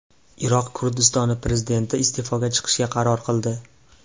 Iroq Kurdistoni prezidenti iste’foga chiqishga qaror qildi.